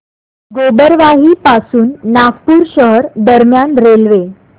गोबरवाही पासून नागपूर शहर दरम्यान रेल्वे